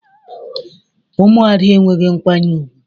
Ụmụ Ada enweghị nkwanye ùgwù.